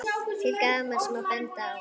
Til gamans má benda á